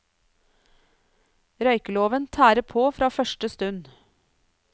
Røykeloven tærer på fra første stund.